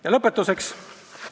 Ja lõpetuseks.